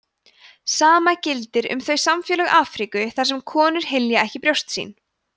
sama gildir um þau samfélög afríku þar sem konur hylja ekki brjóst sín